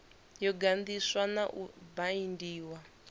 yo ganḓiswa na u baindiwa